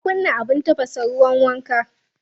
Ka kunna abin tafasa ruwan wanka?